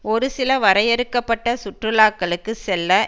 ஒரு சில வரையறுக்க பட்ட சுற்றுலாக்களுக்கு செல்ல